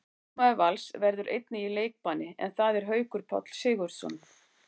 Einn leikmaður Vals verður einnig í leikbanni, en það er Haukur Páll Sigurðsson.